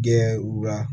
Kɛ u la